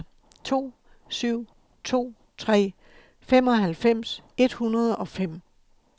to syv to tre femoghalvfems et hundrede og fem